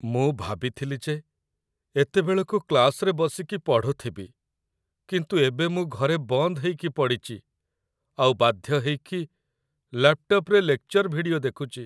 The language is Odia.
ମୁଁ ଭାବିଥିଲି ଯେ ଏତେବେଳକୁ କ୍ଲାସ୍‌ରେ ବସିକି ପଢ଼ୁଥିବି, କିନ୍ତୁ ଏବେ ମୁଁ ଘରେ ବନ୍ଦ ହେଇକି ପଡ଼ିଚି ଆଉ ବାଧ୍ୟ ହେଇକି ଲ୍ୟାପ୍‌ଟପ୍‌ରେ ଲେକ୍‌ଚର ଭିଡିଓ ଦେଖୁଚି ।